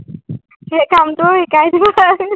সেই কামটোও শিকাই দিব পাৰা